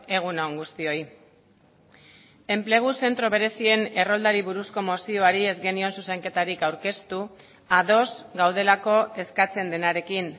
egun on guztioi enplegu zentro berezien erroldari buruzko mozioari ez genion zuzenketarik aurkeztu ados gaudelako eskatzen denarekin